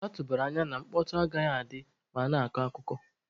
A tụbara anya na mkpọtọ agaghị adị ma a na-akọ akụkọ.